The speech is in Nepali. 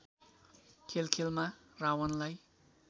खेल खेलमा रावणलाई